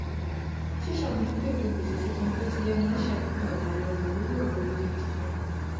ṣíṣàmójútó ètò gbèsè sísan bí ó ti yẹ maá n ṣàdínkù àìbàlẹ ọkàn lórí ọrọ owó gidi gan